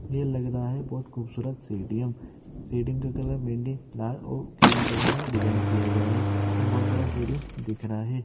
ये लग रहा है बहोत खूबसूरत स्टेडियम स्टेडियम का कलर मेनली लाल और क्रीम कलर में डिजाइन किया गया है ये बहोत बड़ा स्टेडियम दिख रहा है।